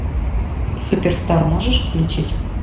супер стар можешь включить